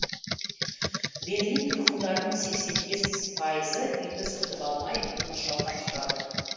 берлин тұрғындарының сексен бес пайызы үйді сатып алмай оны жалдап тұрады